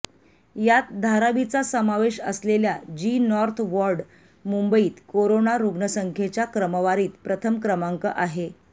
यात धारावीचा समावेश असलेल्या जी नॉर्थ वॉर्ड मुंबईत कोरोना रुग्णसंख्येच्या क्रमवारीत प्रथम क्रमांक आहे